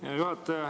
Hea juhataja!